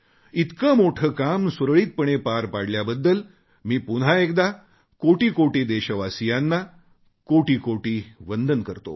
इतके मोठे काम सुरळीतपणे पार पाडल्याबद्दल मी पुन्हा एकदा कोटी कोटी देशवासियांना कोटीकोटी वंदन करतो